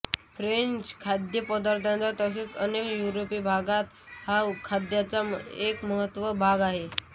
French खाद्य पदार्थात तसेच् अनेक युरोपिय भागात हा खाद्याचा एक महत्त्वाचा भाग असतो